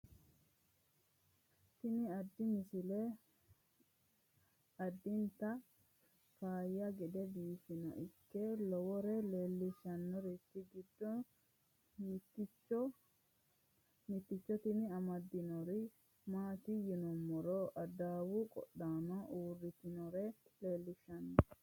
tini alidi misile adinta faayya gede binoa ike lowore leellishannorichi giddo mitoho tini amaddinori maati yinummoro adawu qodhaano uurritinnore leellishshano